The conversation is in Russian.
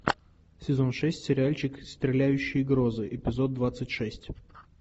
сезон шесть сериальчик стреляющие грозы эпизод двадцать шесть